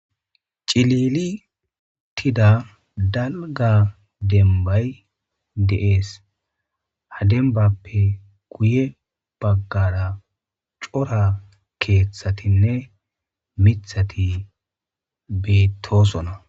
Cilili utida dalga dembay de7ees. Ha dembappe guye baggara cora keeththatinne mithati beettosona.